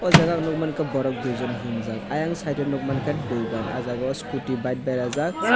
ahh jaaga o nugmanka borok duijon himjaak siang site o nugmanka dugan ahh jaaga o scooty bike berajak.